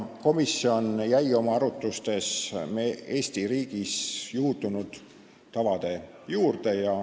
Komisjon jäi oma arutlustes Eesti riigis juurdunud tavade juurde.